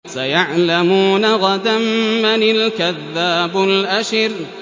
سَيَعْلَمُونَ غَدًا مَّنِ الْكَذَّابُ الْأَشِرُ